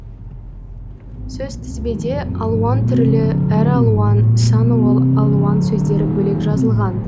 сөзтізбеде алуан түрлі әр алуан сан алуан сөздері бөлек жазылған